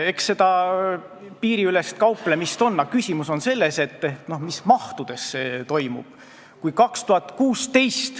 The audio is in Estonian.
Eks seda piiriülest kauplemist ole alati, aga küsimus on selles, mis mahus see toimub.